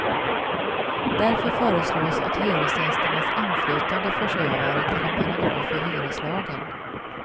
Därför föreslås att hyresgästernas inflytande förs över till en paragraf i hyreslagen.